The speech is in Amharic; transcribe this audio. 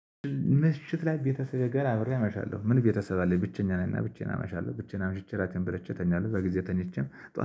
ምሽት ላይ ቤተሰቤ ጋር አብሬ አመሻለሁ። ምን ቤተሰብ አለኝ? ብቸኛ ነኝ። እና ብቻዬን አመሻለሁ። ብቻዬን አመሽቼ ራቴን ብለቼ ተኛለሁ። በጊዜ ተኝቼም